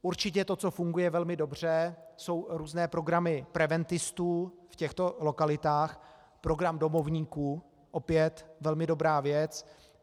Určitě to, co funguje velmi dobře, jsou různé programy preventistů v těchto lokalitách - program domovníků, opět velmi dobrá věc.